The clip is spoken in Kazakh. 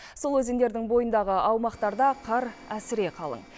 сол өзендердің бойындағы аумақтарда қар әсіре қалың